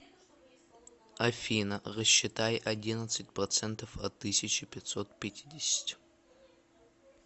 афина рассчитай одиннадцать процентов от тысячи пятьсот пятидесяти